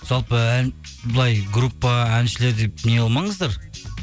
жалпы ән былай группа әншілер деп неғылмаңыздар